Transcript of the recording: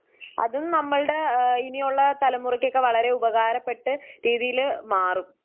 അതും നമ്മളുടെ ആ ഇനിയുള്ള തലമുറക്കൊക്കെ ഉപകാരപ്പെട്ട് രീതിയില് മാറും.